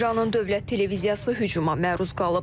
İranın Dövlət Televiziyası hücuma məruz qalıb.